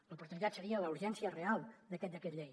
l’oportunitat seria la urgència real d’aquest decret llei